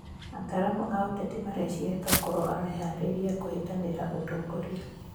Ataramu a ũteti mareciria tokorwo areharĩrĩria kũhĩtanĩra ũtongoria.